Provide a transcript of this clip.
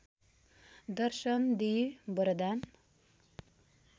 दर्शन दिई वरदान